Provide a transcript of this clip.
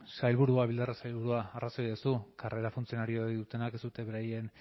bildarratz sailburua arrazoia duzu karrera funtzionario dutenak ez dute beraien